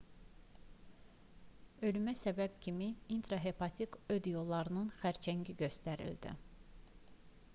ölümə səbəb kimi intrahepatik öd yollarının xərçəngi göstərildi